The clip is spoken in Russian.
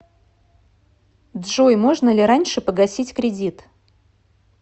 джой можно ли раньше погасить кредит